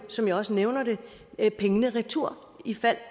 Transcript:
som jeg også nævner det pengene retur i fald